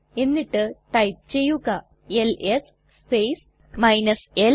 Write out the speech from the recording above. എന്നിട്ട് ടൈപ്പ് ചെയ്യുക LS space l